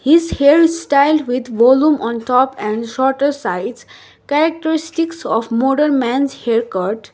his hairstyle with volume on top and shorter sides characteristics of model man's haircut.